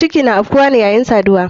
Ciki na afkuwane yayin saduwa.